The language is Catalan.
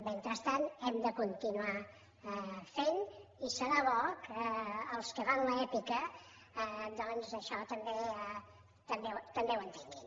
mentrestant hem de continuar fent i serà bo que els que fan l’èpica doncs això també ho entenguin